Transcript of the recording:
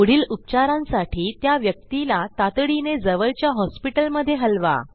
पुढील उपचारांसाठी त्या व्यक्तीला तातडीने जवळच्या हॉस्पिटलमधे हलवा